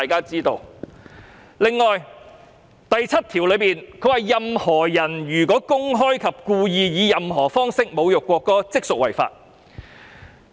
此外，《條例草案》第72條訂明，"任何人如公開及故意以任何方式侮辱國歌，即屬犯罪。